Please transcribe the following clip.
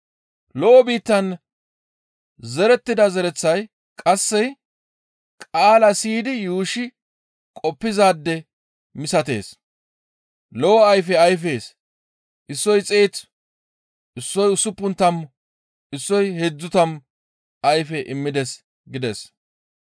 Lo7o biittan zerettida zereththay qasse qaala siyidi yuushshi qoppizaade misatees; lo7o ayfe ayfees; issoy xeetu, issoy usuppun tammu, issoy heedzdzu tammu ayfe immides» gides.